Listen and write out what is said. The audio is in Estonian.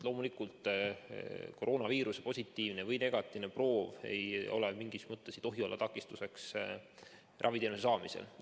Loomulikult, koroonaviiruse positiivne või negatiivne proov ei tohi olla takistuseks raviteenuse saamisel.